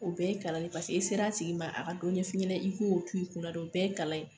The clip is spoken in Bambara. O bɛɛ ye kalan paseke i sera a tigi ma a ka dɔn ɲɛ fiɲɛnɛ i k'o o tu'i kunna o bɛɛ ye kalan ye.